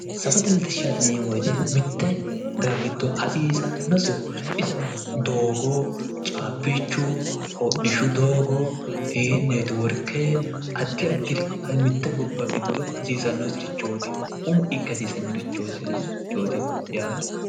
Safote latishahaati yineemmo woyite mitte daga giddo hasiissanosihu isino doogo caabichu hodhishu doogo ii network adi adiri mitte gobba giddo hasiissanosireeti umo ikke hasiissannosirchootti yaate